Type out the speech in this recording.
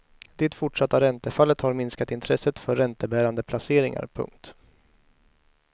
Det fortsatta räntefallet har minskat intresset för räntebärande placeringar. punkt